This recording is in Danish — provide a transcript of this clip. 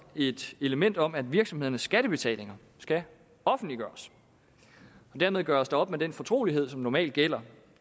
et element om at virksomhedernes skattebetalinger skal offentliggøres dermed gøres der op med den fortrolighed som normalt gælder